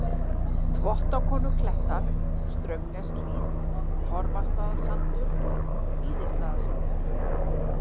Þvottakonuklettar, Straumneshlíð, Torfastaðasandur, Víðastaðasandur